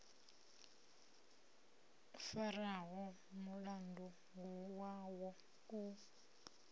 o faraho mulandu wavho u